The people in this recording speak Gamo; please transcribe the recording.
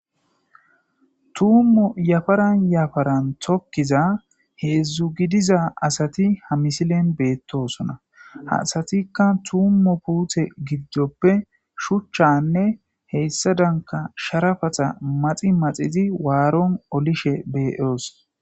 tummo yafaran yafaran tokkiza heedzdzu gidiza asati ha misilen beettosona hasatikka tummo puuthe gidjoppe shuchchanne heyssa danka sharafata maxi maxizi waaron olishe beeyoos